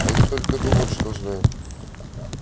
они только думают что знают